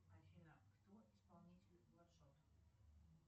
афина кто исполнитель бладшот